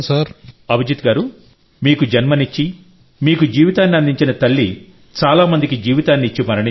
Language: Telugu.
అభిజిత్ గారూ మీకు జన్మనిచ్చి మీకు జీవితాన్ని అందించిన తల్లిచాలా మందికి జీవితాన్ని ఇచ్చి మరణించారు